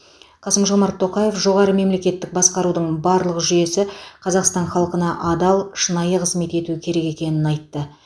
қасым жомарт тоқаев жоғары мемлекеттік басқарудың барлық жүйесі қазақстан халқына адал шынайы қызмет етуі керек екенін айтты